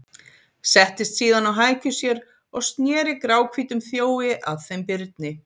Settist síðan á hækjur sér og sneri gráhvítum þjói að þeim Birni.